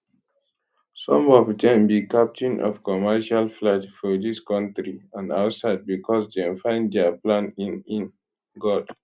some of dem be captain of commercial flights for dis kontri and outside becos dem find dia plan in in god